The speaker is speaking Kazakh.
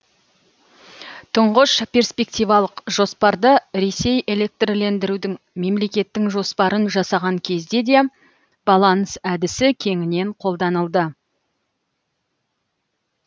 тұңғыш перспективалық жоспарды ресей электрлендірудің мемлекеттің жоспарын жасаған кезде де баланс әдісі кеңінен қолданылды